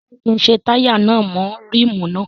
Ṣé kí n ṣe táyà náà mọ́ ríìmù náà?